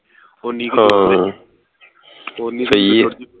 ਹਾਂ ਸਹੀ ਆ